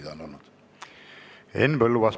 Henn Põlluaas, palun!